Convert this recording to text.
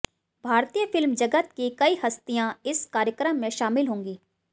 भारतीय फिल्म जगत की कई हस्तियां इस कार्यक्रम में शामिल होंगी